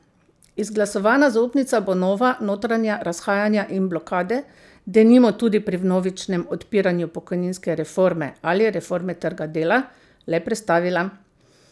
Izglasovana zaupnica bo nova notranja razhajanja in blokade, denimo tudi pri vnovičnem odpiranju pokojninske reforme ali reforme trga dela, le prestavila.